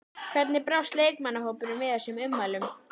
Hvernig brást leikmannahópurinn við þessum ummælum?